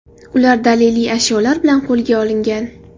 Ular daliliy ashyolar bilan qo‘lga olingan.